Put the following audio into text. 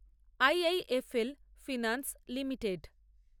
IIFL Finance limited